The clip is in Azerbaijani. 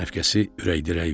Rəfiqəsi ürək-dirək verdi.